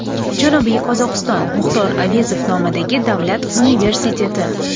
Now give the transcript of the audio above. Janubiy Qozog‘iston Muxtor Avezov nomidagi davlat universiteti.